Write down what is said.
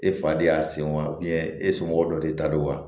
E fa de y'a sen wa e somɔgɔ dɔ de ta don wa